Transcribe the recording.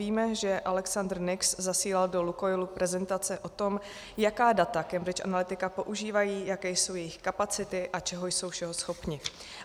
Víme, že Alexander Nix zasílal do Lukoilu prezentace o tom, jaká data Cambridge Analytica používá, jaké jsou jejich kapacity a čeho jsou všeho schopni.